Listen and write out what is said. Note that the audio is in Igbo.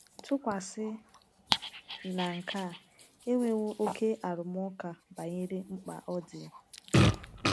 Tụkwasị na nke a, e nwewo oké arụmụka banyere mkpa ọ dị.